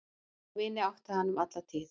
Þá vini átti hann um alla tíð.